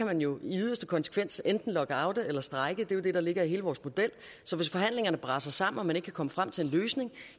man jo i yderste konsekvens enten kan lockoute eller strejke det er jo det der ligger i hele vores model så hvis forhandlingerne braser sammen og man ikke kan komme frem til en løsning